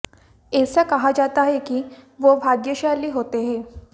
ऐसा कहा जाता है कि वो भाग्यशाली होते हैं